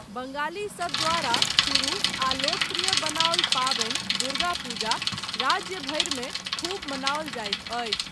बङ्गालीसभ द्वारा शुरू आ लोकप्रिय बनाओल पाबनि दुर्गा पूजा राज्य भरिमे खूब मनाओल जायत अछि।